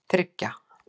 þriggja